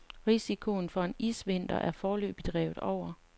Risikoen for en isvinter er foreløbig drevet over.